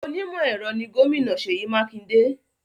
Onímọ̀-ẹ̀rọ ni Gómìnà Seyi Makinde